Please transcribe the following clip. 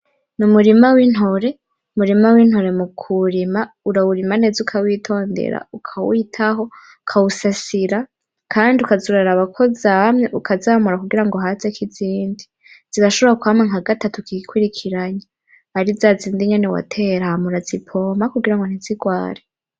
N' umurima w 'intore:umurima w'intore mukuwurima, urawurima neza urawitondera, ukawitaho, ukawusasira kand'ukaza uraraba ko zamye ukazamura kugirango hazek'izindi, zirashobora kwama nkagatatu kikwirikiranya kand'ari zazindi nyene watera ,ham'urazipompa kugirango ntizigware.